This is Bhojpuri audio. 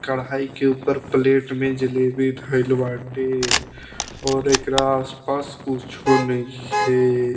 कढ़ाई के ऊपर प्लेट में जलेबी धइल बाटे और एकरा आस-पास कुछो नइखे।